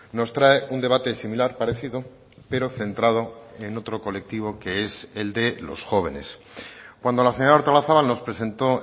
nos trae un debate similar parecido pero centrado en otro colectivo que es el de los jóvenes cuando la señora artolazabal nos presentó